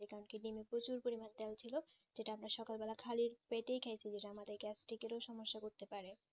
কালকে দিনে প্রচুর পরিমানে দেওয়া হয়েছিল সেটা আমরা সকাল বেলা খালি পেটে gastric রো সমস্যা করতে পারে